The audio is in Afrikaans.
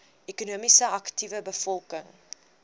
ekonomies aktiewe bevolking